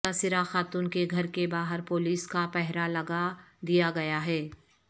متاثرہ خاتون کے گھر کے باہر پولیس کا پہرہ لگا دیا گیا ہے